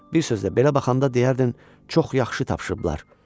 Bir sözlə, belə baxanda deyərdin, çox yaxşı tapışıblar.